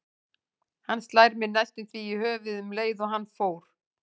Hann slær mig næstum því í höfuðið um leið og hann fórn